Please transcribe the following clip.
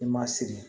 I ma sigi